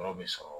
Yɔrɔ bɛ sɔrɔ